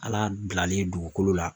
Ala bilalen dugukolo la